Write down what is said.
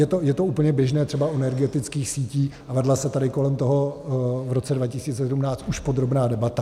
Je to úplně běžné třeba u energetických sítí a vedla se tady kolem toho v roce 2017 už podrobná debata.